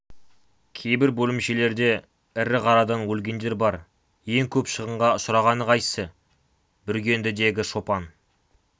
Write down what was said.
кейбір бөлімшелерде ірі қарадан өлгендер бар ең көп шығынға ұшырағаны қайсы бүргендідегі шопан